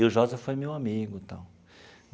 E o Josa foi meu amigo e tal.